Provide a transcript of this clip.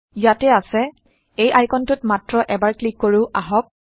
ইয়াত আছেএই আইকনটোত160মাত্ৰ এবাৰ ক্লিক কৰো আহক